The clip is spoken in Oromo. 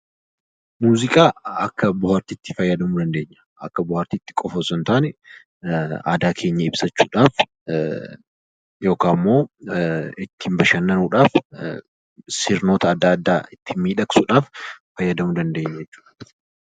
Muuziqaa akka bohaartiitti fayyadamuu dandeenya. Akka bohaartiitti qofa osoo hin taane, aadaa keenya ibsachuudhaaf yookaan immoo ittiin bashannanuudhaaf sirnoota adda addaa ittiin miidhagsuudhaaf fayyadamuu dandeenya jechuudha.